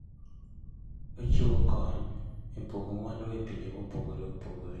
Ochiwo kony e pogo mwandu e pinje mopogore opogore.